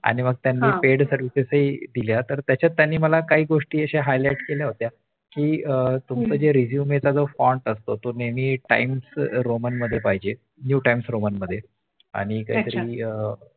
आणि मग त्यांनी Paid services हि दिल्या त्याच्यात त्यांनी मला काही गोष्टी Highlights केल्या होत्या कि तुमचा Resume font असतो ती नेहमी Times roman new times roaman मध्ये पाहिजे आणि काहीतरी अं